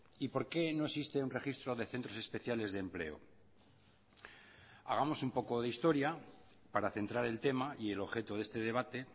y por qué no existe un registro de centros especiales de empleo hagamos un poco de historia para centrar el tema y el objeto de este debate